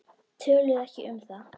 Töluðu ekki um það.